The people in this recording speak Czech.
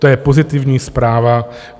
To je pozitivní zpráva.